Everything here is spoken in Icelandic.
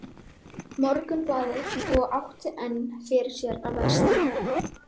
Morgunblaðið og átti enn fyrir sér að versna.